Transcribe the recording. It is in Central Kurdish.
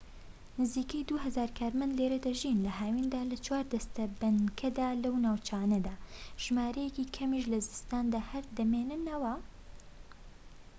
نزیکەی دوو هەزار کارمەند لێرە دەژین لە هاویندا لە چوار دەستە بنکەدا لەو ناوچانەدا ژمارەیەکی کەمیش لە زستاندا هەر دەمێننەوە